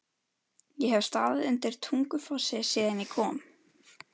Ég hef staðið undir Tungufossi síðan ég kom.